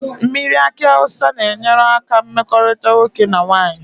Mmiri aki awusa na enyere aka na mmekorita nwoke na nwanyi